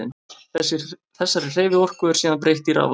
Þessari hreyfiorku er síðan breytt í raforku.